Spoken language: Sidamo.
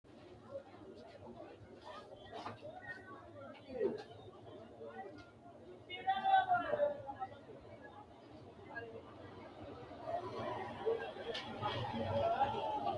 Lowo baara widiidi woxi eessate wolqa hee’rasi Lowo baara widiidi woxi eessate wolqa hee’rasi Lowo baara widiidi woxi eessate wolqa.